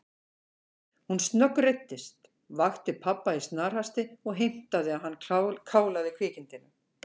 Hún snöggreiddist, vakti pabba í snarhasti og heimtaði að hann kálaði kvikindinu.